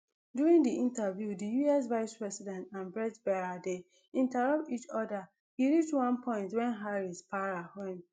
during di interview di us vicepresident and bret baier dey interrupt each oda e reach one point wen harris para wen